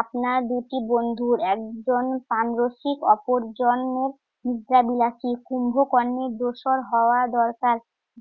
আপনারা দুটি বন্ধুর একজন প্রাণরসিক অপরজনের নিদ্রাবিলাসী। কুম্ভকর্ণের দোসর হওয়া দরকার।